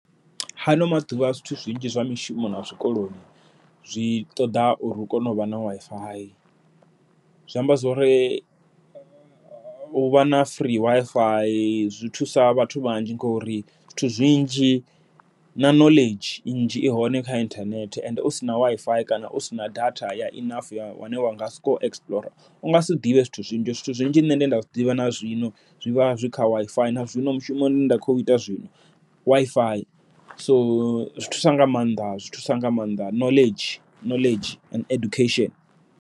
Ha ano maḓuvha zwithu zwinzhi zwa mishumo na zwikoloni, zwi ṱoḓa uri u kone u vha na WiFi zwi amba zwori uvha na free WiFi zwi thusa vhathu vhanzhi. Ngori zwithu zwinzhi na knowledge nnzhi i hone kha inthanethe, ende usina WiFi kana u sina data ya enough ya wa nga soko explore unga si ḓivhe zwithu zwinzhi, zwithu zwinzhi zwine nda zwiḓivha nazwino zwivha zwi kha WiFi nazwino mushumoni nda kho ita zwino WiFi, so zwi thusa nga maanḓa zwi thusa nga maanḓa knowledge knowledge and education.